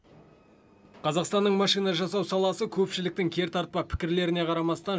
қазақстанның машина жасау саласы көпшіліктің кертартпа пікірлеріне қарамастан